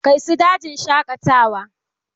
Kai su dajin shaƙatawa!